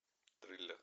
триллер